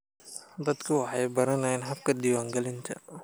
Dadku waxay baranayaan habka diiwaangelinta.